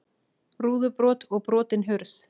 Rúðubrot og brotin hurð